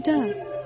Əlvida,